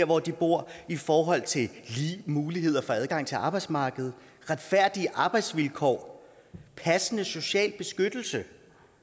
hvor de bor i forhold til lige muligheder for adgang til arbejdsmarkedet retfærdige arbejdsvilkår passende social beskyttelse